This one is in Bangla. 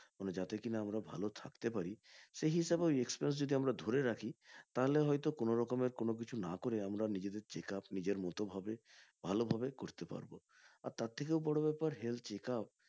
মানে যাতে কিনা আমরা ভালো থাকতে পারি সেই হিসেবে ওই expenses যদি ধরে রাখি তাহলে হয়তো কোন রকমের কোন কিছু না করে নিজেদের checkup নিজের মতো করে ভালোভাবে করতে পারে আর তার থেকেও বড় ব্যাপার health checkup